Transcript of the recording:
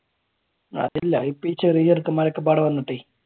അതില്ല ഇപ്പൊ ചെറിയ ചെറുക്കന്മാർ ഒക്കെ ഇപ്പ അവിടെ വന്നിട്ടേ